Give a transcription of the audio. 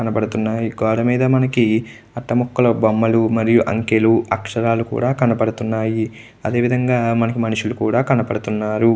గోడమీద మనకి అట్ట ముక్కలు బొమ్మలు మరియు అంకలు అక్షరాలు కూడా కనబడుతున్నాయి అదేవిధంగా మనకు మనుషులు కూడా కనబడుతున్నారు.